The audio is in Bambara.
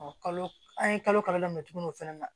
kalo an ye kalo kalo daminɛ tugunni o fana na